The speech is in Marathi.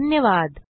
धन्यवाद